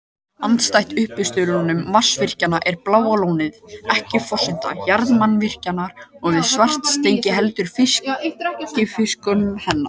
Andstætt uppistöðulónum vatnsaflsvirkjana er Bláa lónið ekki forsenda jarðvarmavirkjunarinnar við Svartsengi heldur fylgifiskur hennar.